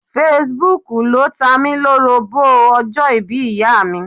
Fesibúùkù ló tamí-lórobó ọjọ́ ìbí ìyáàmi.